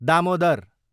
Damodar